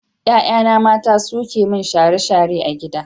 Ƴaƴana mata suke yi min share-share a gida.